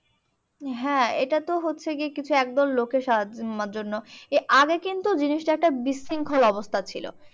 হ্যাঁ এইটা তো হচ্ছে কিছু একদল লোকের সাহায্য নেওয়ার জন্য আগে কিন্তু জিনিসটা একটা বিশৃঙ্খল অবস্থা ছিল।